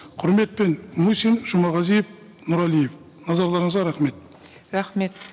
құрметіпен мусин жұмағазиев нұрәлиев назарларыңызға рахмет рахмет